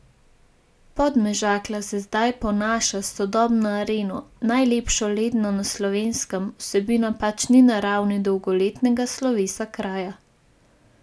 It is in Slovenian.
Podmežakla se zdaj ponaša s sodobno areno, najlepšo ledno na Slovenskem, vsebina pač ni na ravni dolgoletnega slovesa kraja.